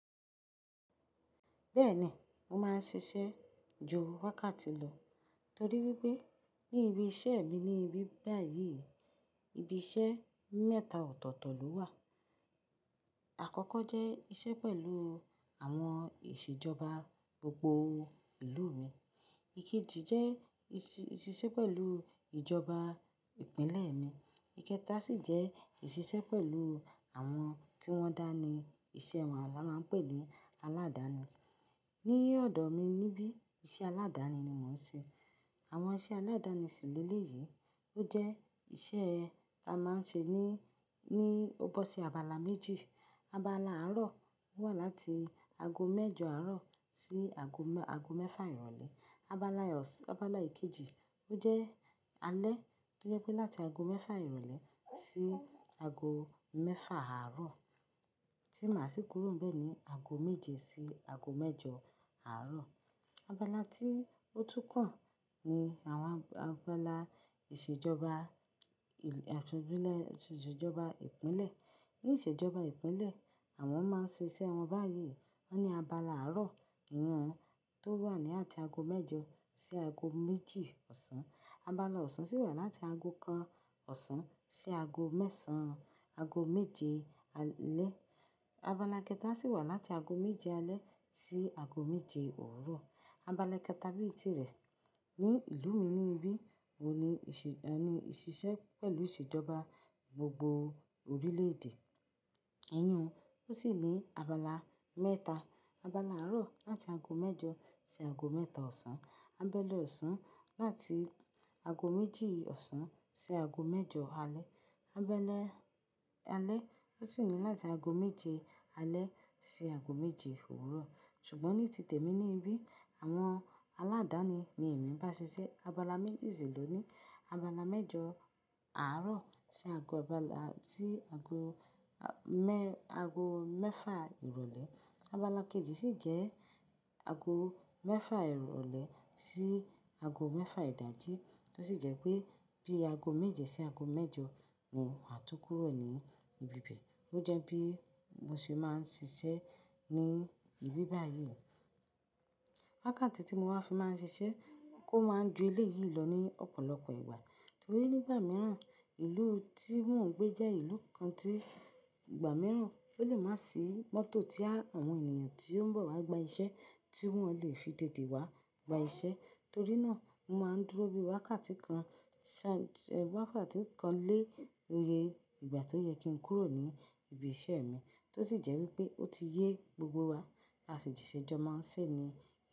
Bẹ́ẹ̀ni, mo máa ń ṣiṣẹ́ ju wákàtí lọ torí wípé ní ibi iṣẹ́ mi ni ibi báyìí, ibi iṣẹ́ mẹ́ta ọ̀tọ̀ọ̀tọ̀ ló wà. Àkọ́kọ́ jẹ́ iṣẹ́ pẹ̀lú àwọn ìṣèjọba gbogbo ìlú mi. Ikéji jẹ́ ìṣ-ìṣiṣẹ́ pẹ̀lú ìjọba ìpínlẹ̀ mi. Ikẹta sì jẹ́ ìṣiṣẹ́ pẹ̀lú àwọn tí wọ́n dá ni iṣẹ́ wọn, alá máa ń pè ní aládàáni. Ní ọ̀dọ̀ mi níbí, iṣẹ́ aládàáni ni mò ń ṣe. Àwọn iṣẹ́ aládàáni sìlélè yìí ó jẹ́ iṣẹ́ ta máa ń ṣe ní, ní ó bó sí abala méjì. Abala àárọ̀ wà láti ago mẹ́jọ àárọ̀ sí ago mẹ́-ago mẹ́fà ìrọ̀lẹ́. Abala ọ̀sán, abala ìkéjí ó jẹ́ alẹ́ tó jẹ́ pé láti ago mẹ́fà ìrọ̀lẹ́ sí ago mẹ́fà àárọ̀. Tí màá sì kúrò ńbé ni ago méje sí ago mẹ́jọ àárọ̀. Abala tí ó tú kàn ni àwọn abala ìṣèjọba àtundilẹ̀, ìṣèjọba ìpínlẹ̀. Ní ìṣèjọba ìpínlẹ̀, àwọn máa ń ṣe iṣẹ́ wọn báyìí. Wọ́n ní abala àárọ̀ irun tó wà ní àti ago mẹ́jọ sí ago méjì ọ̀sán. Abala ọ̀sán sì wà láti ago kan ọ̀sán sí ago mẹ́sàn-án, ago méje alẹ́. Abala ikẹta sì wà láti ago méje alẹ́ sí ago méje òwúrọ̀. Abala kẹta bí èyí tìrẹ ní ìlú mi níbí, òun ni ìṣe-ọ́nì ìṣiṣẹ́ pẹ̀lú ìṣèjọba gbogbo orílẹ̀èdè. Ẹyin òun ó sì ní abala mẹ́ta. Abala àárọ̀ láti ago mẹ́jọ sí ago mẹ́ta ọ̀sán. Abala ọ̀sán láti ago méjì ọ̀sán sí ago mẹ́jọ alẹ́. Abala alẹ́ ó sì ní láti ago méje alẹ́ sí ago méje òwúrọ̀. Ṣùgbọ́n ní títè mi níbí, àwọn aládàáni ni èmi ń bá ṣiṣẹ́. Abala méjì sì ló ní abala mẹ́jọ àárọ̀ sí ago abala sí ago mẹ́-ago mẹ́fà ìrọ̀lẹ́. Abala kejì sì jẹ́ ago mẹ́fà ìrọ̀lẹ́ sí ago mẹ́fà ìdájí tó sì jẹ́ pé bí ago méje sí ago mẹ́jọ ni wà tú kúrò ní ibi ìṣẹ́. Ó jẹ́ bí mo ṣe máa ń ṣiṣẹ́ ní ibi báyìí. Wákàtí tí mo wá fi máa ń ṣiṣẹ́ kó máa ń ju ilé yìí lọ ní ọ̀pọ̀lọpọ̀ ìgbà torí nígbà mìíràn, ìlú tí wọ́n ń gbé jẹ́ ìlú kan tí ìgbà mìíràn ó lè má sì mọ́tò tí àwọn ènìyàn tí ó ń bọ̀ wá gba iṣẹ́ tí wọ́n lè fi tète wá gba iṣẹ́. Torí náà mo máa ń dúró bí wákàtí kan ṣá, wákàtí kan lé oye ìgbà tó yẹ kí n kúrò ní ibi iṣẹ́ mi tó sì jẹ́ wípé ó ti yé gbogbo wa, a sì di ìṣẹ́jọ máa ń sè ni.